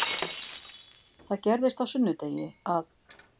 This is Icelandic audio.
Það gerðist á sunnudegi að